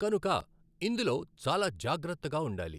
కనుక ఇందులో చాలా జాగ్రత్తగా ఉండాలి.